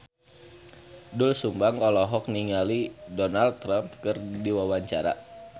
Doel Sumbang olohok ningali Donald Trump keur diwawancara